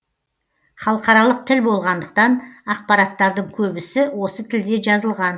халықаралық тіл болғандықтан ақпараттардың көбісі осы тілде жазылған